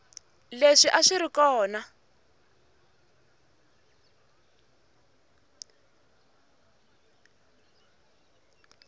leswi a swi ri kona